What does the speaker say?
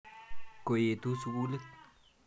Ko etu sukulit.